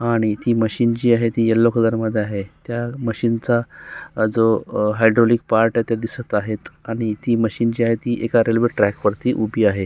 आणि ती मशीन जी आहे ती यल्लो कलर मध्ये आहे त्या मशीन चा अ जो हायड्रॉलीक पार्ट आहे ते दिसत आहेत आणि ती मशीन जी आहे ती एका रेल्वे ट्रॅक वरती उभी आहे.